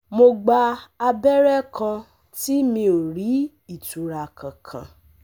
Mo gba abẹrẹ kan tí mi ò rí ìtura kankan